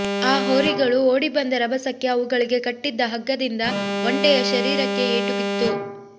ಆ ಹೋರಿಗಳು ಓಡಿಬಂದ ರಭಸಕ್ಕೆ ಅವುಗಳಿಗೆ ಕಟ್ಟಿದ್ದ ಹಗ್ಗದಿಂದ ಒಂಟೆಯ ಶರೀರಕ್ಕೆ ಏಟುಬಿತ್ತು